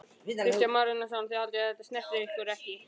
Kristján Már Unnarsson: Þið haldið að þetta snerti ykkur ekki?